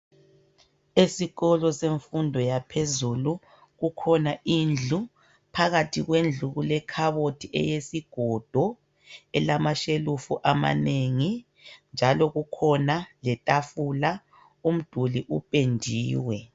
Esikolo semfundo yaphezulu kukhona indlu phakathi kwaleyo indlu kukhona kulekhabothi yesigodo elamashelufu amanengi njalo kukhona letafula umduli uphendiwe